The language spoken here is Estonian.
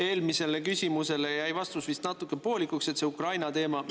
Eelmisele küsimusele jäi vastus vist natuke poolikuks Ukraina teemal.